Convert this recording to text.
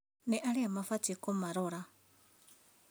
Nĩ arĩa mabatiĩ kũmarora